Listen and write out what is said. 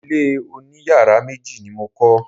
Ilé oniyàrá méjì ni mo kọ́.